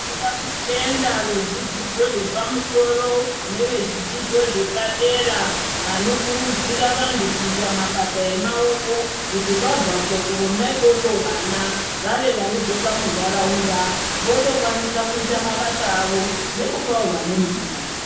Toda kutenda vezvidzidzo zvepamusoro nevezvidzidzo zvepadera vanokurudzira vantu kuita mabasa emaoko kuti vabvapo kuna ikoko vana vave vanodzoka muntaraunda votokwanisa kuita mabasa awo nekupawi vamweni mabasa.